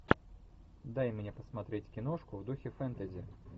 дай мне посмотреть киношку в духе фэнтези